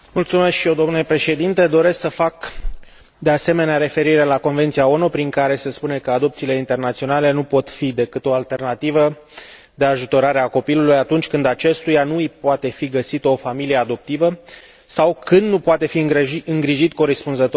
Doresc să fac, de asemenea, referire la Convenția ONU prin care se spune că adopțiile internaționale nu pot fi decât o alternativă de ajutorare a copilului, atunci când acestuia nu îi poate fi găsită o familie adoptivă sau când nu poate fi îngrijit corespunzător în țara sa de origine.